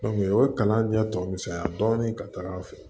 o ye kalan ɲɛ tɔ misɛnya dɔɔnin ka taga a fɛ